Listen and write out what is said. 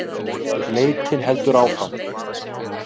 Leitin heldur áfram